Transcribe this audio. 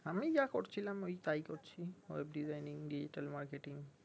আমি যা করছিলাম ওই তাই করছি ওই designing digital marketing